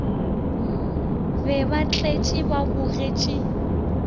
be ba tletše ba bogetše